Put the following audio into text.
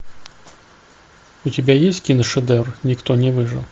у тебя есть кино шедевр никто не выжил